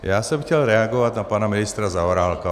Já jsem chtěl reagovat na pana ministra Zaorálka.